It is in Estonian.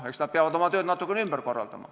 Eks nad peavad oma tööd natuke ümber korraldama.